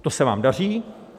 To se vám daří.